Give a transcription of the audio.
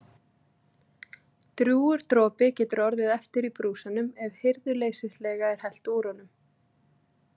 Drjúgur dropi getur orðið eftir í brúsanum ef hirðuleysislega er hellt úr honum.